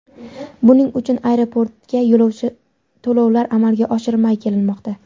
Buning uchun aeroportga to‘lovlar amalga oshirilmay kelinmoqda.